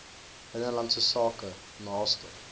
binnelandse sake naaste